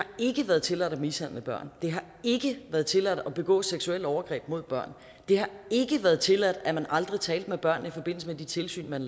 ikke været tilladt at mishandle børn det har ikke været tilladt at begå seksuelle overgreb mod børn det har ikke været tilladt at man aldrig talte med børn i forbindelse med de tilsyn man